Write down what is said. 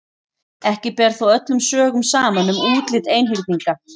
Ekki ber þó öllum sögum saman um útlit einhyrninga.